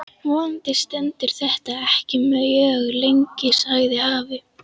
Vonandi stendur þetta ekki mjög lengi sagði afi.